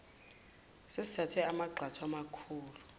sesithathe amagxathu amakhulu